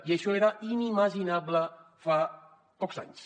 i això era inimaginable fa pocs anys